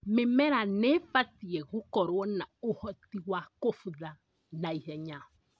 Mĩmera nĩibatie gũkorwo na ũhoti wa kũbutha naihenya